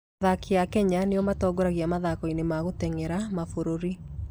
Athaki a Kenya nĩo matongoragia mathako-inĩ ma gũteng'era mabũrũri.